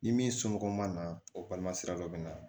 Ni min somɔgɔw ma na o balima sira dɔ bɛ na